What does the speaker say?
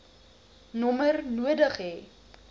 nommer nodig hê